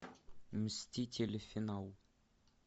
мстители финал